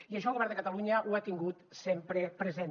i això el govern de catalunya ho ha tingut sempre present